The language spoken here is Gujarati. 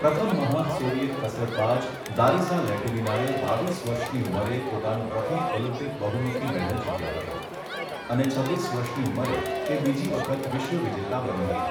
પ્રથમ મહાન સોવિયેત કસરતબાજ લારિસા લેટિનિનાએ બાવીસ વર્ષની ઉંમરે પોતાનું પ્રથમ ઓલિમ્પિક બહુમુખી મેડલ જીત્યો હતો અને છવ્વીસ વર્ષની ઉંમરે તે બીજી વખત વિશ્વ વિજેતા બની હતી.